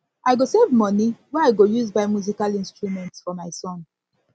i go save moni wey i go use buy musical instrument for my son for my son